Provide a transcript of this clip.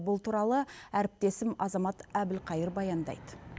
бұл туралы әріптесім азамат әбілқайыр баяндайды